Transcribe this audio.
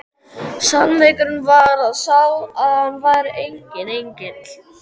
Sannleikurinn var sá að hann var enginn engill!